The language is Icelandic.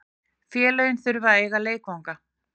Félögin þurfa að eiga leikvangana.